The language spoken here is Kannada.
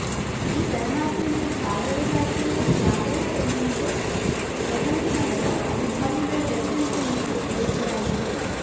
ಈ ಪರಮಾತ್ಮವೇ ಜಾಗರದಾಚೆಯ ಜಾಗರ ಎಂದು ಪ್ರಪಂಚದ ಹಲವು ಅನುಭಾವಿಗಳ ದರ್ಶನದ ಹಿನ್ನೆಲೆಯಲ್ಲಿ ವಿವರಿಸಲಾಗಿದೆ